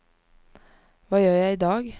hva gjør jeg idag